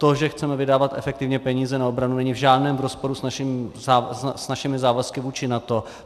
To, že chceme vydávat efektivně peníze na obranu, není v žádném rozporu s našimi závazky vůči NATO.